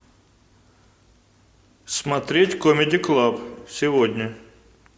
смотреть камеди клаб сегодня